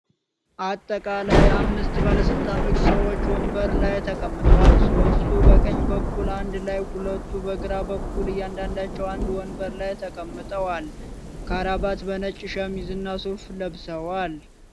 አጠቃላይ አምስት ባለስልጣን ሰዎች ወንበር ላይ ተቀምጠዋል። ሦስቱ በቀኝ በኩል አንድ ላይ ሁለቱ በግራ በኩል እያንዳንዳቸዉ አንድ ወንበር ላይ ተቀምጠዋል። ካራባት በነጭ ሸሚዝ እና ሱፍ ለብሰዋል።